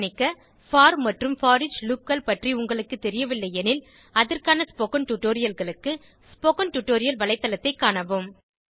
கவனிக்க போர் மற்றும் போரிச் loopகள் பற்றி உங்களுக்கு தெரியவில்லை எனில் அதற்கான ஸ்போகன் டுடோரியல்களுக்கு ஸ்போகன் டுடோரியல் வளைத்தளத்தைக் காணவும்